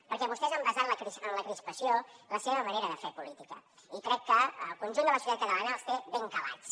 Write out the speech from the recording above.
perquè vostès han basat en la crispació la seva manera de fer política i crec que el conjunt de la societat catalana els té ben calats